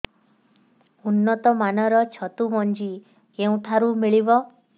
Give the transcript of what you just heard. ଉନ୍ନତ ମାନର ଛତୁ ମଞ୍ଜି କେଉଁ ଠାରୁ ମିଳିବ